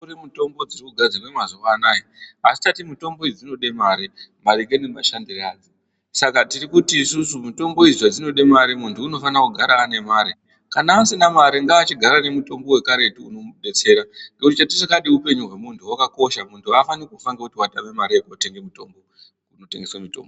Kune mitombo dzinogadzirwa mazuva anawa Asi toti mitombo idzi dzinoda mare maringe nemashandiro adzo Saka tiri kuti mitombo idzi zvadzinoda mare muntu anofanira kugara ane mare kana asina mare ngachigare nemutombo wekare unomubetsera ngekuti chatisingade ndechekuti mupenyu wemuntu wakakosha muntu afani kufa nekuti atama mare kunotengeswa mitombo.